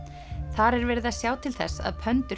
þar er verið að sjá til þess að